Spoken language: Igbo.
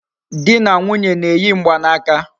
Di na nwunye na-eyi mgbanaka